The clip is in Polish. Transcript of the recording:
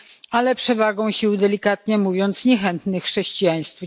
ale przewagą sił delikatnie mówiąc niechętnych chrześcijaństwu.